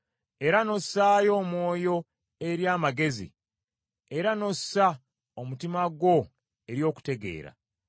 era n’ossaayo omwoyo eri amagezi, era n’ossa omutima gwo eri okutegeera,